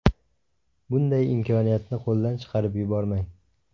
Bunday imkoniyatni qo‘ldan chiqarib yubormang!